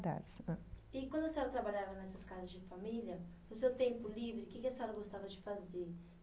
E quando a senhora trabalhava nessas casas de família, no seu tempo livre, o que que a senhora gostava de fazer?